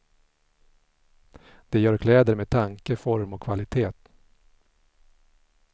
De gör kläder med tanke, form och kvalitet.